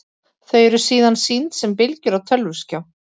Þau eru síðan sýnd sem bylgjur á tölvuskjá.